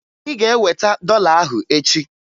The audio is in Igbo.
Ị ga-eweta dọla ahụ echi!